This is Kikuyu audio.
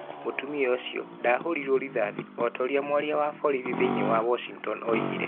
Mũtumia ũcio ndaahũrirwo rithathi, o ta ũrĩa mwaria wa borithi thĩinĩ wa Washington oigire.